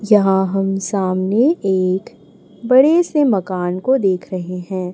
जहां हम सामने एक बडे से मकान को देख रहे हैं।